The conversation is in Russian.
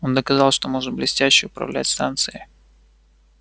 он доказал что может блестяще управлять станцией